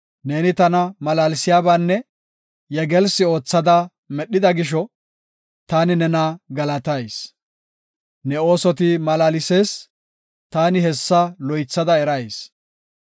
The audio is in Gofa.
Neeni tana malaalsiyabanne yegelsi oothada medhida gisho, taani nena galatayis. Ne oosoti malaalsees! taani hessa loythada erayis.